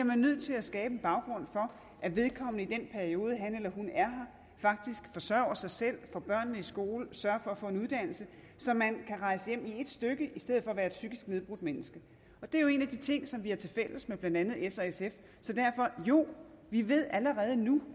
man nødt til at skabe en baggrund for at vedkommende i den periode han eller hun er her faktisk forsørger sig selv får børnene i skole sørger for at få en uddannelse så man kan rejse hjem i et stykke i stedet for at være et psykisk nedbrudt menneske det er jo en af de ting som vi har tilfælles med blandt andet s og sf så derfor jo vi ved allerede nu